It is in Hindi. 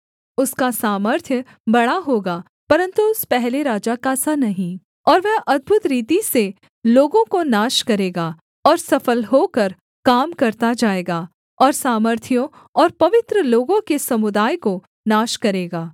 उसका सामर्थ्य बड़ा होगा परन्तु उस पहले राजा का सा नहीं और वह अद्भुत रीति से लोगों को नाश करेगा और सफल होकर काम करता जाएगा और सामर्थियों और पवित्र लोगों के समुदाय को नाश करेगा